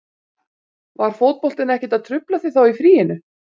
Var fótboltinn ekkert að trufla þig þá í fríinu?